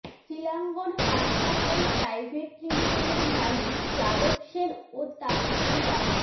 শিলাঙ্গণ হাসপাতাল প্রাইভেট লিমিটেডের মালিক যাদব সেন ও তাঁর স্ত্রী ডা